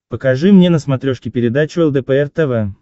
покажи мне на смотрешке передачу лдпр тв